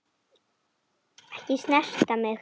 Ekki snerta mig.